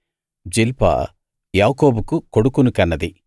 జిల్పా యాకోబుకు కొడుకుని కన్నది